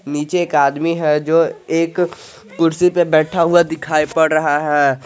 नीचे एक आदमी है जो एक कुर्सी पर बैठा हुआ दिखाई पड रहा है।